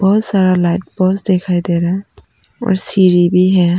बहुत सारा light post दिखाई दे रहा है और सीढ़ी भी है।